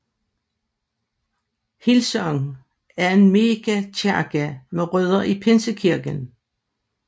Hillsong er en megakirke med rødder i pinsekirken